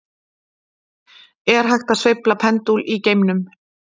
Er hægt að sveifla pendúl í geimnum?